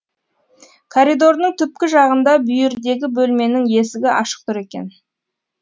коридордың түпкі жағында бүйірдегі бөлменің есігі ашық тұр екен